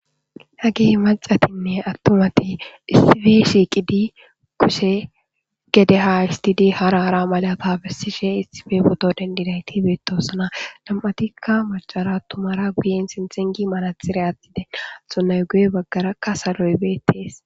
hagey macatinne attumati issife shiiqidi kushe gede ha istidi hara hara malata bessishe issife boto dendidayti beetoosna lam7atikka macara tumara guyen sintxingi malatxire atiden axonnay guye baggarakka saloybeetees